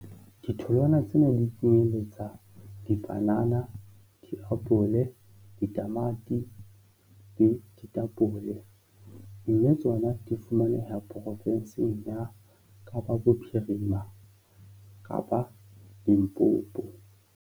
Ditholwana tsena dipanana, diapole, ditamati le ditapole mme tsona di fumaneha porofensing ya Kapa Bophirima kapa Limpopo.